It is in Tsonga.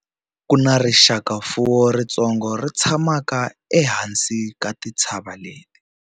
Ku na rixakamfuwo ritsongo ri tshamaka ehansi ka tintshava leti.